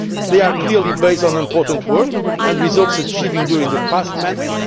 process. They are clearly based on important work and results achieved during the past